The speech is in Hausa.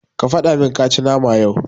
Ka fadamin kashi nama yau.